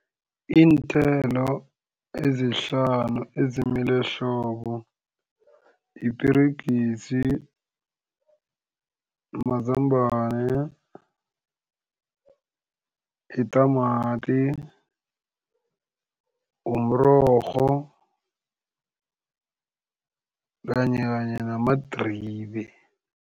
Iinthelo ezihlanu ezimila ehlobo yiperegisi, mazambane, yitamati, mrorho kanye kanye namadribe.